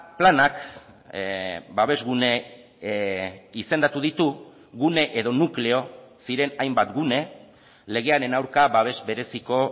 planak babesgune izendatu ditu gune edo nukleo ziren hainbat gune legearen aurka babes bereziko